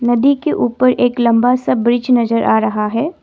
नदी के ऊपर एक लंबा सा ब्रिज नज़र आ रहा है।